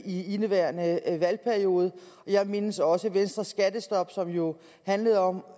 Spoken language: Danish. i indeværende valgperiode og jeg mindes også venstres skattestop som jo handlede om